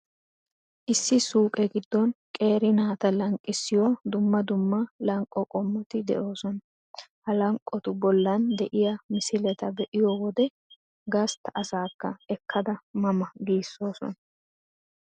Issi suuqe giddon qeeri naataa lanqqissiyoo dumma dumma lanqqo qommoti de'oosona. Ha lanqqotu bollan de'iya misileta be'iyo wode, gastta asaakka ekkada 'ma ma' giissoosona.